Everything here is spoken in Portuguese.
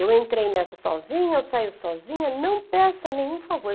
Eu entrei nessa sozinha, eu saio sozinha, não peça nenhum favor.